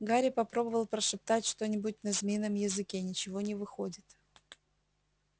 гарри попробовал прошептать что-нибудь на змеином языке ничего не выходит